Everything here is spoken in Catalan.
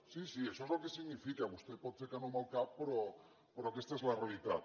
sí sí això és el que significa vostè pot fer que no amb el cap però aquesta és la realitat